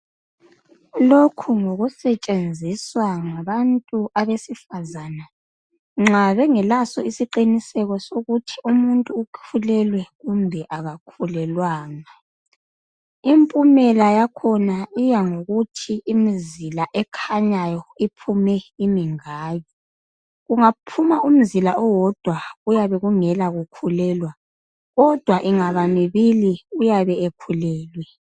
Lokhu ngokusetshenziswa nganantu abesifazana nxa bengekaso isiqiniseko sokuthi umuntu ukhulelwe kumbe kakhulelwanga impumela yakhona iyango kuthi imizila ekhanyayo iphume imingaki kungaphuma umzila owondwa kuyabe kungela kukhulelwa kodwa ingaba mibili uyabe ekhulelwe